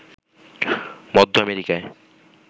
মধ্য আমেরিকায়